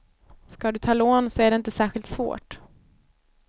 Ska du ta lån så är det inte särskilt svårt.